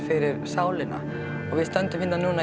fyrir sálina og við stöndum hérna núna